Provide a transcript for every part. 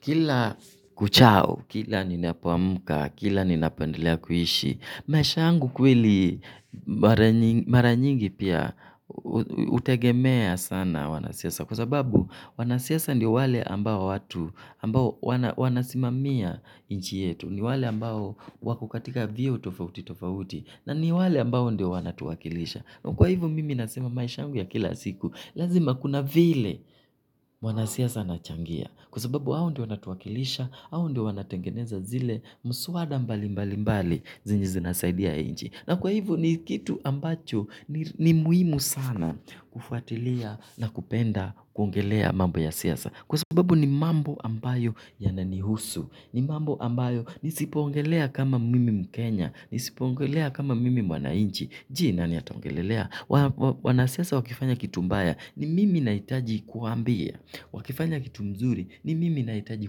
Kila kuchao, kila ninapoamka, kila ninapoandelea kuishi. Maisha yangu kweli mara nyingi pia, utegemea sana wanasiasa. Kwa sababu, wanasiasa ndio wale watu ambao, wanasimamia nchi yetu. Ni wale ambao wako katika vyeo tofauti tofauti. Na ni wale ambao ndio wanatuwakilisha. Kwa hivyo, mimi nasema maisha yangu ya kila siku. Lazima kuna vile mwanasiasa anachangia. Kwa sababu hao ndio wanatuwakilisha, hao ndio wanatengeneza miswada mbali mbali inayosaidia inji. Na kwa hivyo ni kitu ambacho ni muhimu sana kufuatilia na kupenda kuongelea mambo ya siasa. Kwa sababu ni mambo ambayo yananihusu, ni mambo ambayo nisipoongelea kama mimi Mkenya, nisipoongelea kama mimi mwanainchi. Je, nani ataongelelea? Wanasiasa wakifanya kitu mbaya ni mimi nahitaji kuwaambia. Wakifanya kitu kizuri ni mimi nahitaji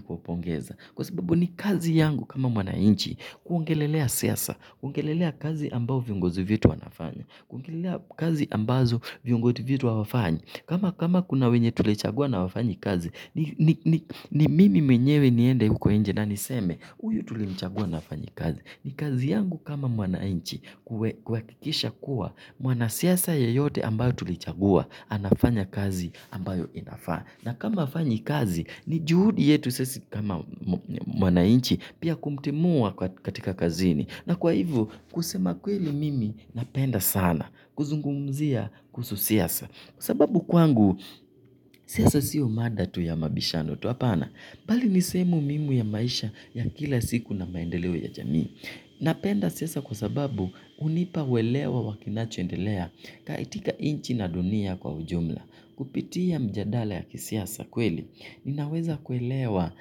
kuwapongeza. Kwa sababu ni kazi yangu kama mwananchi kuongelelea siasa, kuongelelea kazi ambazo viongozi wetu wanafanya, kuongelelea kazi ambazo viongozi wetu hawafanyi. Kama kuna wenye tulichagua na hawafanyi kazi, ni mimi mwenyewe niende huko nje na niseme, uyu tulimchagua na hafanyi kazi. Ni kazi yangu kama mwananchi, kuhakikisha kuwa, mwanasiasa yeyote ambaye tulichagua, anafanya kazi inayofaa. Na kama hafanyi kazi, ni juhudi yetu sisi kama wananchi, pia kumtimua katika kazini. Na kwa hivyo, kusema kweli mimi napenda sana, kuzungumzia kuhusu siasa. Kwa sababu kwangu, siasa sio mada tu ya mabishano tu hapana. Bali ni sehemu muhimu ya maisha ya kila siku na maendeleo ya jamii. Napenda siasa kwa sababu hunipa uelewa wa kinachoendelea kaitika nchi na dunia kwa ujumla. Kupitia mijadala ya kisiasa kweli. Ninaweza kuelewa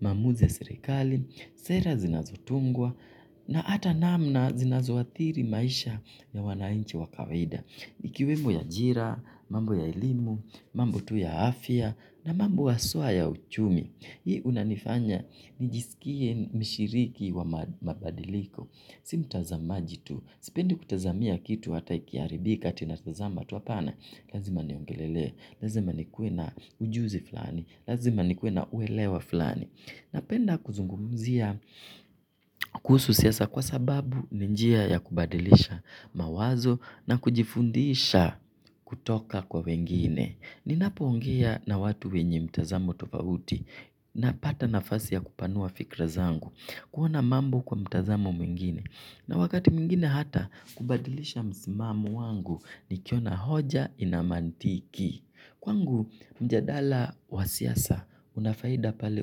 maamuzi serikali, sera zinazotungwa, na ata namna zinazoathiri maisha ya wananchi wa kawida. Ikiwemo ajira, mambo ya elimu, mambo tu ya afya na mambo haswa ya uchumi hii hunifanya nijisikie mshiriki wa mabadiliko mimi si mtazamaji tu, sipendi kutazamia kitu hata ikiaribika eti natazama tu hapana lazima niongelele, lazima niwe na ujuzi fulani, lazima niwe na uelewa fulani napenda kuzungumzia kuhusu siasa kwa sababu ni njia ya kubadilisha mawazo na kujifundisha kutoka kwa wengine. Ninapo ongea na watu wenye mtazamo tofauti, napata nafasi ya kupanua fikra zangu, kuona mambo kwa mtazamo mwingine na wakati mwingine hata kubadilisha msimamo wangu nikiona hoja ina mantiki kwangu mjadala wa siasa unafaida pale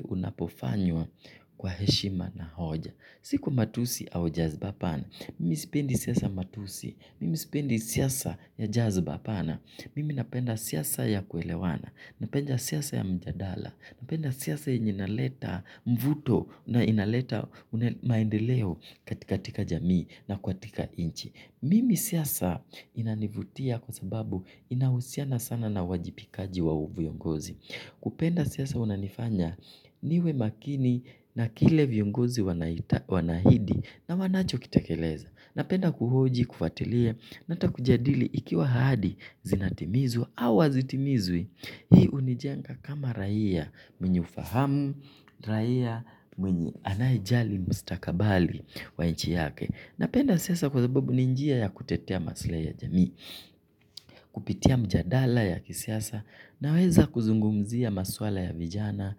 unapofanywa kwa heshima na hoja. Si kwa matusi au jazba. Mimi sipendi siasa ya matusi. Mimi sipendi siasa za jazba. Mimi napenda siasa ya kuelewana. Napenda siasa ya mijadala. Napenda siasa inayoleta mvuto na maendeleo katika jamii na nchi. Mimi siasa inanivutia kwa sababu inahusiana sana na uwajibikaji wa viongozi. Kupenda siasa unanifanya niwe makini na kile viongozi wana ahidi na wanacho kitekeleza. Napenda kuhoji, kufatilia na hatakujadili ikiwa ahadi zinatimizwa au hazitimizwi hii unijenga kama raia mwenye ufahamu, raia mwenye anayejali mustakabali wa nchi yake. Napenda siasa kwa sabubu ni njia ya kutetea maslahi ya jamii, kupitia mjadala ya kisiasa, naweza kuzungumzia maswala ya vijana,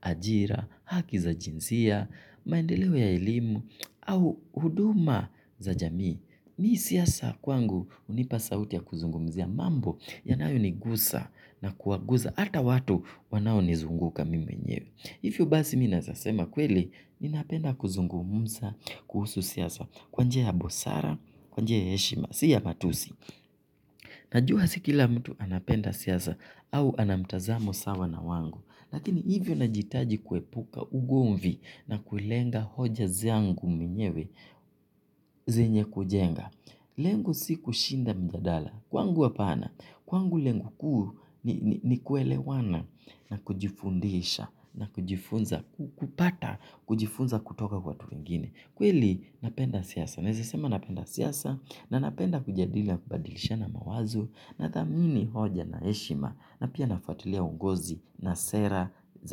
ajira, haki za jinsia, maendeleo ya elimu, au huduma za jamii. Mimi siasa kwangu hunipa sauti ya kuzungumzia mambo yanayo nigusa na kuwagusa hata watu wanao ni zunguka mimi mwenyewe hivyo basi mimi naweza sema kweli, ninapenda kuzungumuza kuhusu siasa kwa njia ya busara, kwa njia ya heshima, si ya matusi najua si kila mtu anapenda siasa au anamtazamo sawa na wangu lakini hivyo nahijitaji kuepuka ugomvi na kulenga hoja zangu mwenyewe zenye kujenga lengo si kushinda mjadala, kwangu apana, kwangu lengo kuu ni kuelewana na kujifundisha, na kujifunza, kupata, kujifunza kutoka kwa watu wengine kweli, napenda siasa. Naweza sema napenda siasa na ninapenda kujadili na kubadilishana mawazo na thamini hoja na heshima na pia nafuatilia uongozi na sera za.